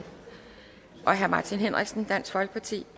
martin henriksen dansk folkeparti